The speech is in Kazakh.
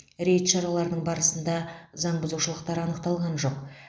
рейд шараларының барысында заңбұзушылықтар анықталған жоқ